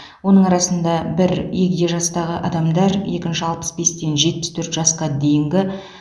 оның арасында бір егде жастағы адамдар екінші алпыс бестен жетпіс төрт жасқа дейінгі